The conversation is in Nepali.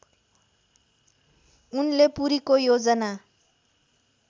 उनले पुरीको योजना